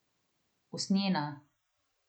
Usnjena.